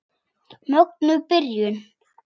Mögnuð byrjun.